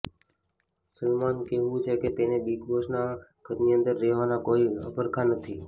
સલમાન કહેવું છે કે તેમને બિગ બોસના ઘરની અંદર રહેવાના કોઇ અભરખા નથી